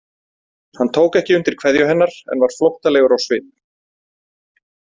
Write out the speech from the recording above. Hann tók ekki undir kveðju hennar en var flóttalegur á svip.